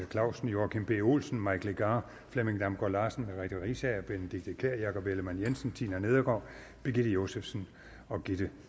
clausen joachim b olsen mike legarth flemming damgaard larsen merete riisager benedikte kiær jakob ellemann jensen tina nedergaard birgitte josefsen og gitte